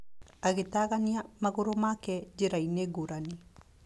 Agĩtagania magũrũ make njĩra-inĩ ngũrani.